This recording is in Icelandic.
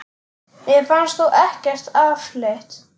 Mér fannst þú ekkert afleit!